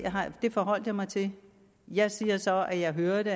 forholdt jeg mig til jeg siger så at jeg hørte